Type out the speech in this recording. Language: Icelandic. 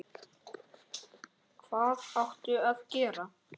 Og hvað áttu að gera?